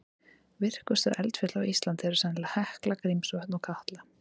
Virkustu eldfjöll á Íslandi eru sennilega Hekla, Grímsvötn og Katla.